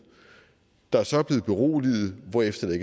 der så er blevet beroliget hvorefter der